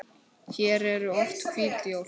Hér eru oft hvít jól.